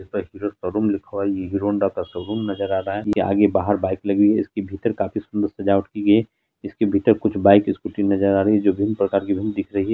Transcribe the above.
Bike hero showroom लिखा हुआ है हीरो होंडा का शोरूम नजर आ रहा है आगे बाहर बाइक लगी हुई है इसके भीतर काफी सुंदर सजावट की गई है इसके भीतर बाइक स्कूटी नजर आ रही है जो बहुत प्रकार की दिख रही है।